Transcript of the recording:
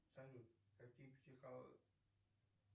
салют какие